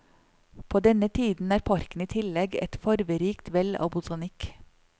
På denne tiden er parken i tillegg et farverikt vell av botanikk.